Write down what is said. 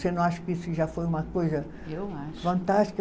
Você não acha que isso já foi uma coisa. Eu acho. Fantástica?